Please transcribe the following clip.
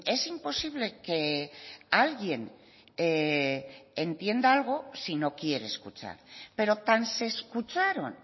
es imposible que alguien entienda algo si no quiere escuchar pero tan se escucharon